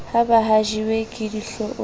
ha ba hlajiwe ke dihloong